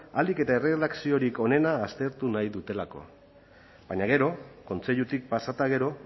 ahalik eta erredakziorik onena aztertu nahi dutelako baina gero kontseilutik pasa eta gero